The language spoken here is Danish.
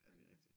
Ja det er rigtigt